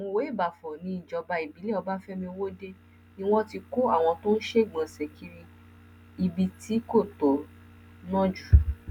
mọwéìbáfọ níjọba ìbílẹ ọbáfẹmi ọwọde ni wọn ti kó àwọn tó ń ṣègbọnṣe kiri ibi tí kò tọ náà jù